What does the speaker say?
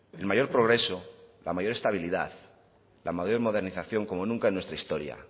el mayor progreso la mayor estabilidad la mayor modernización como nunca en nuestra historia